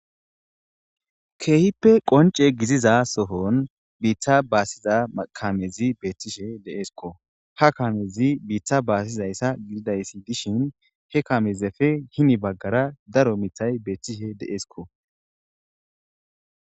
keehippe qonce giziza sohon biitta baasiza kamezi beethtishe deeskko ha kamezi biita baasizayssa gididayssi dishin he kamezefe hini baggara daro mithay beethtishe de'eskko